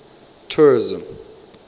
tourism